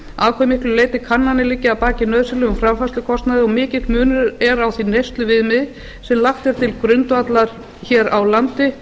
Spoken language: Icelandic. hve miklu leyti kannanir liggja að baki nauðsynlegum framfærslukostnaði og mikill munur er á því neysluviðmiði sem lagt er til grundvallar hér á landi